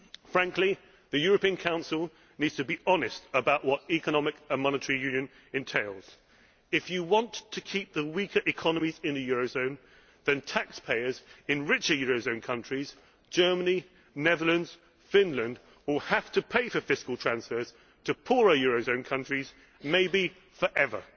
Frankly, the European Council needs to be honest about what economic and monetary union entails. If you want to keep the weaker economies in the eurozone, taxpayers in richer eurozone countries Germany, the Netherlands, Finland will have to pay for fiscal transfers to poorer eurozone countries, maybe forever.